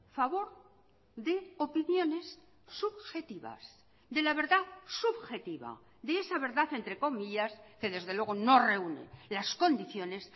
favor de opiniones subjetivas de la verdad subjetiva de esa verdad entre comillas que desde luego no reúne las condiciones